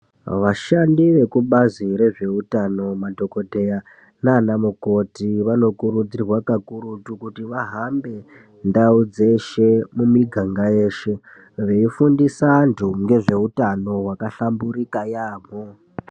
Vashandi vekubazi rezveutano madhokoteya nana mukoti vanokurudzirwa kakurutu kuti vahambe ndau dzeshe mumiganga yeshe veifundisa antu ngezveutano wakahlamburuka yaamho.